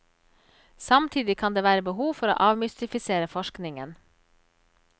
Samtidig kan det være behov for å avmystifisere forskningen.